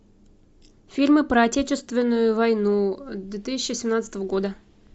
фильмы про отечественную войну две тысячи семнадцатого года